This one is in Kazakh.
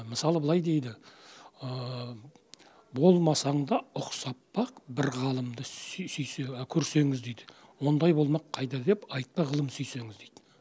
мысалы былай дейді болмасаң да ұқсап бақ бір ғалымды көрсеңіз дейді ондай болмақ қайда деп айтпа ғылым сүйсеңіз дейді